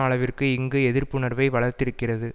அளவிற்கு இங்கு எதிர்ப்புணர்வை வளர்த்திருக்கிறது